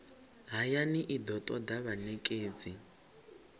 hayani i do toda vhanekedzi